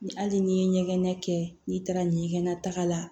Ni hali ni ye ɲɛgɛn kɛ n'i taara ɲɛgɛnta la